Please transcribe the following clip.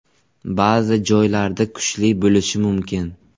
Ba’zi joylarda kuchli bo‘lishi mumkin.